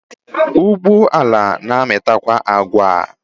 Ugbo ala na amita kwa agwa.